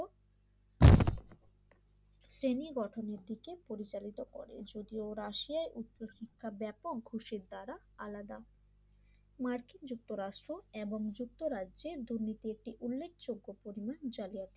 শ্রেণী গঠনের দিকে পরিচালিত করে যদিও রাশিয়া উচ্চশিক্ষা ব্যাপক ঘুষের দ্বারা আলাদা মার্কিন যুক্তরাষ্ট্র এবং যুক্তরাজ্যের দুর্নীতি একটি উল্লেখযোগ্য পরিমাণ জালিয়াতি